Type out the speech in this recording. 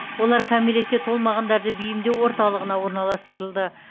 олар кәмелетке толмағандарды бейімдеу орталығына орналастырылды